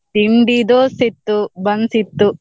ತಿಂಡಿ dosa ಇತ್ತು, buns ಇತ್ತು.